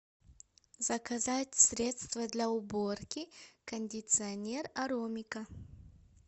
заказать средство для уборки кондиционер аромика